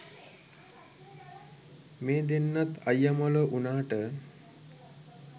මේ දෙන්නත් අයියා මලෝ වුණාට